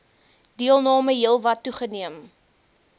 deelname heelwat toegeneem